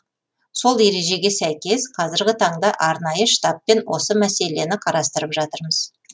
сол ережеге сәйкес қазіргі таңда арнайы штабпен осы мәселені қарастырып жатырмыз